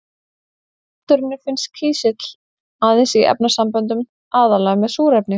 Í náttúrunni finnst kísill aðeins í efnasamböndum, aðallega með súrefni.